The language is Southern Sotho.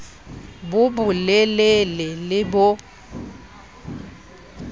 bo bo lelele le bo